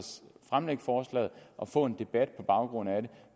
fremlægge forslaget og få en debat på baggrund af det